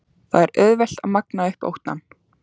Það er auðvelt að magna upp óttann.